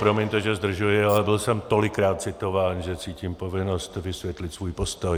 Promiňte, že zdržuji, ale byl jsem tolikrát citován, že cítím povinnost vysvětlit svůj postoj.